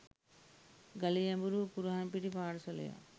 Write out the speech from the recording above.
ගලේ ඇඹරූ කුරහන් පිටි පාර්සලයක්